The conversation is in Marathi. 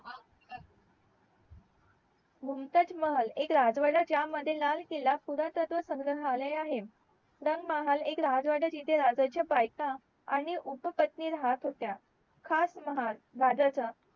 मुमताज महल एक राजवाडा ज्या मध्ये लाल किल्ला पुरातत्व संघ्रहलाय आहे रंगमहाल एक राजवाडा जिथे राजाचे बायका आणि उपपत्नी राहत होत्या हाच महाल राजाचा